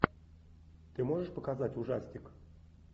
ты можешь показать ужастик